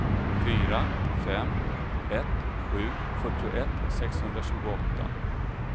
fyra fem ett sju fyrtioett sexhundratjugoåtta